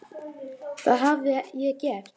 Hvað hafði ég gert?